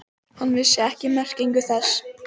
Hann vissi ekki merkingu þess.